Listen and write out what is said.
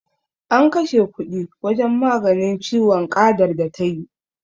An kashe kuɗi wajen maganin ciwon ƙadar da ta yi.